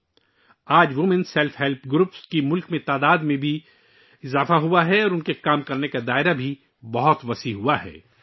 آج ملک میں خواتین سیلف ہیلپ گروپس کی تعداد میں بھی اضافہ ہوا ہے اور ان کے کام کا دائرہ بھی بہت وسیع ہو گیا ہے